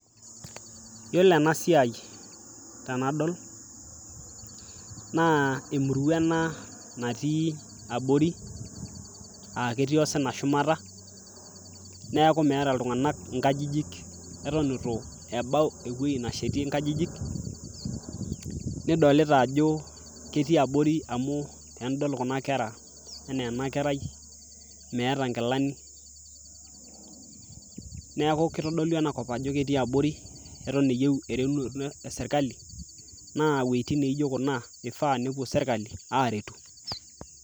yiolo ena siai tenadol naa emurua ena natii abori aketii osina shumata neeku meeta iltung'anak inkajijik eton itu ebau ewueji nashetie nkajijik nidolita ajo ketii abori amu tenidol kuna kera enaa ena kerai meeta inkilani neeku kitodolu enakop ajo ketii abori eton eyieu eretunoto esirkali naa iwuejitin naijo kuna ifaa nepuo sirkali aretu.